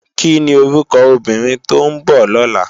Kini órúkò óbìrín tó n bò lòlá?